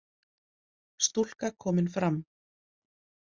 Stúlka komin fram